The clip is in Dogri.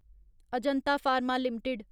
Ajanta Pharma limited